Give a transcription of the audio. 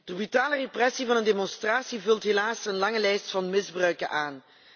De brutale repressie van een demonstratie vult helaas een lange lijst van misbruiken aan.